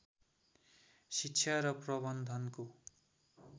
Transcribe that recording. शिक्षा र प्रबन्धनको